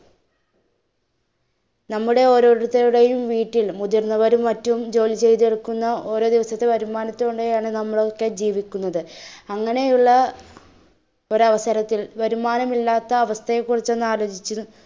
നമ്മുടെ ഓരോരുത്തരുടെയും വീട്ടിൽ മുതിർന്നവരും മറ്റും ജോലി ചെയ്‌തെടുക്കുന്ന ഓരോ ദിവസത്തെ വരുമാനത്തോടെയാണ് നമ്മളൊക്കെ ജീവിക്കുന്നത്, അങ്ങനെ ഉള്ള ഒരു അവസരത്തിൽ വരുമാനമില്ലാത്ത ഒരു അവസ്ഥയെ കുറിച്ച് ഒന്ന് ആലോജിച്ചു